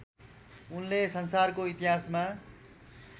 उनले संसारको इतिहासमा